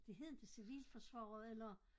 Det hed det civilforsvaret eller